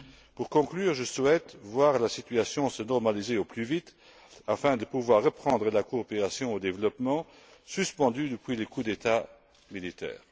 Pour conclure, je souhaite voir la situation se normaliser au plus vite afin de pouvoir reprendre la coopération au développement suspendue depuis le coup d'État militaire.